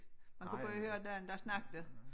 Man kunne bare høre den der snakkede